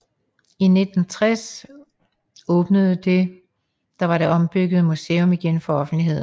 I 1960 åbnede det var det ombyggede museum igen for offentligheden